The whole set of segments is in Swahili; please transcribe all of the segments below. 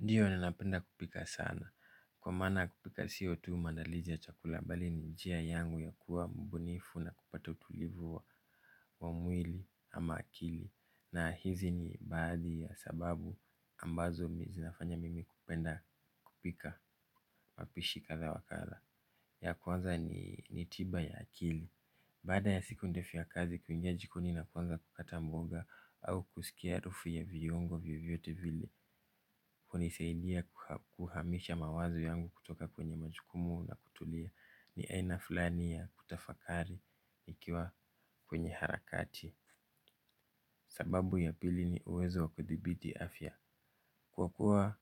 Ndiyo ninapenda kupika sana. Kwa maana kupika sio tu maandalizi ya chakula bali ni njia yangu ya kua mbunifu na kupata utulivu wa mwili ama akili. Na hizi ni baadhi ya sababu ambazo mi zinafanya mimi kupenda kupika mapishi kadha wa kadha. Ya kwanza ni tiba ya akili. Baada ya siku ndefu ya kazi kuingia jikoni na kuanza kukata mboga au kusikia harufu ya viungo vyovyote vile hunisaidia kuhamisha mawazo yangu kutoka kwenye majukumu na kutulia. Ni aina fulani ya kutafakari ikiwa kwenye harakati. Sababu ya pili ni uwezo wa kudhibiti afya. Kwa kuwa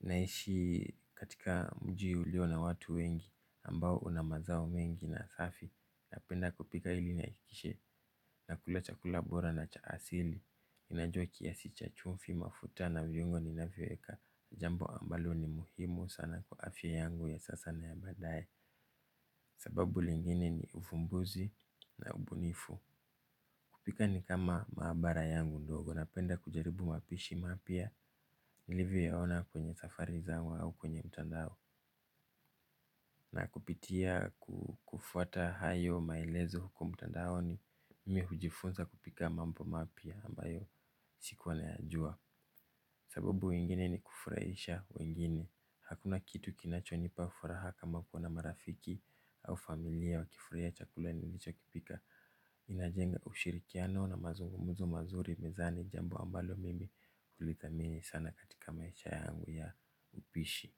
naishi katika mji ulio na watu wengi ambao una mazao mengi na safi, napenda kupika hili nihakikishe nakula chakula bora na cha asili ninajua kiasi cha chumvi mafuta na viungo ninavyoweka jambo ambalo ni muhimu sana kwa afya yangu ya sasa na ya baadae. Sababu lingine ni ufumbuzi na ubunifu. Kupika ni kama mahabara yangu ndogo, napenda kujaribu mapishi mapia nilivyoyaona kwenye safari zangu au kwenye mtandao. Na kupitia kufuata hayo maelezo huku mtandaoni. Mimi hujifunza kupika mambo mapya ambayo sikuwa nayajua sababu ingine ni kufurahisha wengine hakuna kitu kinachonipa furaha kama kuona marafiki au familia wakifurahia chakula nilichokipika. Inajenga ushirikiano na mazungumuzo mazuri mezani jambo ambalo mimi hulidhamini sana katika maisha yangu ya upishi.